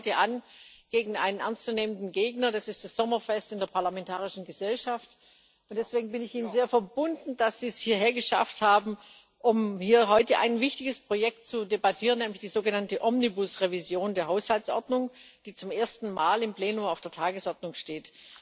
Wir treten heute gegen einen ernst zu nehmenden Gegner an das ist das Sommerfest in der Parlamentarischen Gesellschaft, und deswegen bin ich Ihnen sehr verbunden, dass Sie es hierher geschafft haben, um hier heute ein wichtiges Projekt zu debattieren, nämlich die sogenannte Omnibus Revision der Haushaltsordnung, die zum ersten Mal im Plenum auf der Tagesordnung steht.